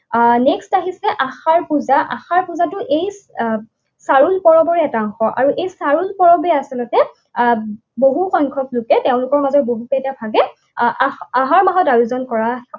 আহ Next আহিছে আশাৰ পূজা, আশাৰ পূজাটো এই আহ চাৰুল পৰৱৰ এটা অংশ আৰু এই চাৰুল পৰৱে আচলতে আহ বহু সংখ্যকলোকে তেওঁলোকৰ মাজত বহুকেইটা ভাগে আ আহাৰ মাহত আয়োজন কৰা